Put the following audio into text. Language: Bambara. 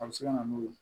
A bɛ se ka na n'o ye